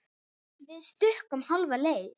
Við stukkum hálfa leið.